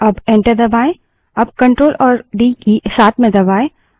अब ctrl और d की साथ में दबायें